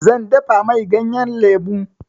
Zan dafa mai ganyan lemu.